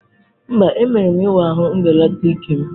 Mba, emere m ịwa ahụ mbelata ike'm.